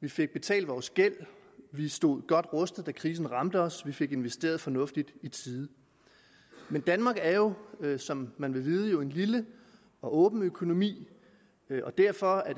vi fik betalt vores gæld vi stod godt rustet da krisen ramte os vi fik investeret fornuftigt i tide men danmark er jo som man vil vide en lille og åben økonomi og derfor er